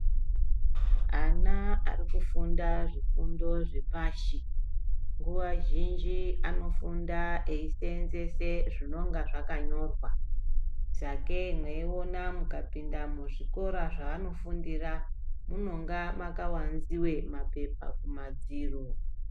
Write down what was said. Ana arikufunda zvifundo zvepashi nguwa zhinji anofunda eiseenzese zvinonga zvakanyorwa . Sakei mweiona mukapinda muzvikora mwanofundira munonga makawanziwe mapepa kumadziro.